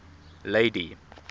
lady